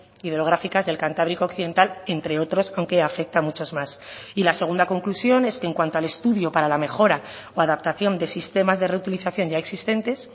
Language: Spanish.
hidrográficas del cantábrico occidental entre otros aunque afecta a muchos más y la segunda conclusión es que en cuanto al estudio para la mejora o adaptación de sistemas de reutilización ya existentes